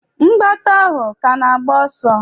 Mgbata ahụ ka na-agba ọsọ?